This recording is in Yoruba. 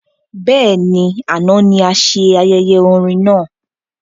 Bẹ́ẹ̀ni, àna ní ase ayẹyẹ orin náà